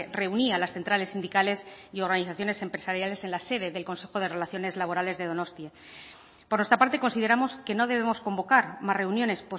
reunía a las centrales sindicales y organizaciones empresariales en la sede del consejo de relaciones laborales de donostia por nuestra parte consideramos que no debemos convocar más reuniones